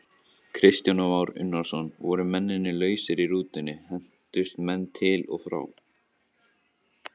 Kristján Már Unnarsson: Voru menn lausir í rútunni, hentust menn til og frá?